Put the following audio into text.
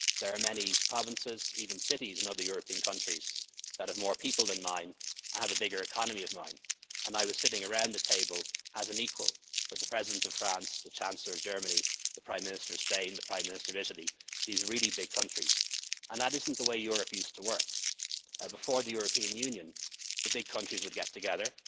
country. There are many provinces, even cities, in other European countries that have more people than mine, have a bigger economy than mine, and I was sitting around the table as an equal with the President of France, the Chancellor of Germany, the Prime Minister of Spain, the Prime Minister of Italy, these really big countries, and that isn't the way Europe used to work. Before the European Union, the big countries would